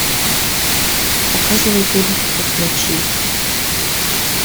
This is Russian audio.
показывай фильм вкус ночи